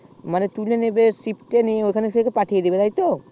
তুলে নেবে shit এ